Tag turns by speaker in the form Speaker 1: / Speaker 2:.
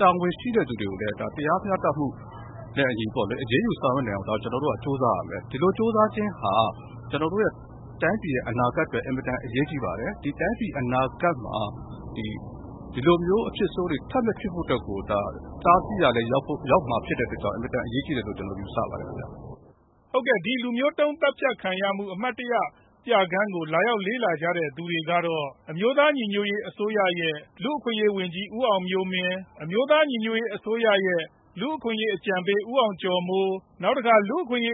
Speaker 1: တာဝန်ရှိတဲ့သူတွေကို တရားမျှတမှုနဲ့အညီ အရေးယူနိုင်အောင် ကျနော်တို့က ကြိုးစားရမယ်။ ကျနော်တို့ တိုင်းပြည်အနာဂတ်အတွက် အင်မတန်အရေးကြီးပါတယ်။ အနာဂတ်မှာ ဒီလိုအဖြစ်ဆိုးတွေ ထပ်မဖြစ်အောင် တားဆီးရာလည်းရောက်မှာဖြစ်တဲ့အတွက်ကြောင့် အင်မတန်အရေးကြီးတယ်လို့ ကျနော်ယူဆပါတယ်။
Speaker 2: ဒီလူမျိုးတုန်း သတ်ဖြတ်ခံရမှု အမှတ်တရပြခန်းကို လာရောက်လေ့လာကြတဲ့သူတွေကတော့ အမျိုးသား ညီညွတ်ရေးအစိုးရ NUG လူ့အခွင့်အရေးဝန်ကြီး ဦးအောင်မျိုးမင်း ၊ ဒုတိယနိုင်ငံခြားရေးဝန်ကြီး ဦးမိုးဇော်ဦး ၊ လူ့အခွင်အရေးအကြံပေး ဦးအောင်ကျော်မိုး၊ နဲ့ နောက်ထပ် လူ့အခွင့်အရေး